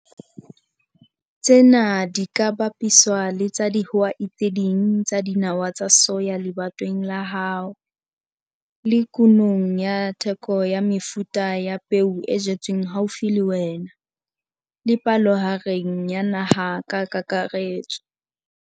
Tsena di ka bapiswa le tsa dihwai tse ding tsa nawa tsa soya lebatoweng la hao, le kunong ya teko ya mefuta ya peo e jetsweng haufi le wena, le palohareng ya naha ka kakaretso.